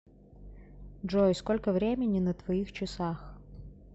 джой сколько времени на твоих часах